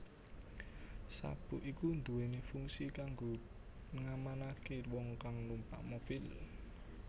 Sabuk iki duwéni fungsi kanggo ngamanaké wong kang numpak mobil